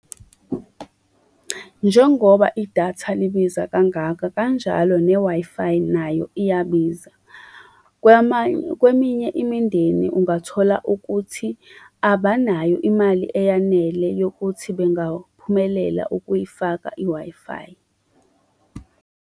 Njengoba idatha libiza kangaka, kanjalo ne-Wi-Fi nayo iyabiza. Kwamanye, kweminye imindeni ungathola ukuthi abanayo imali eyanele yokuthi bengaphumelela ukuyifaka i-Wi-Fi.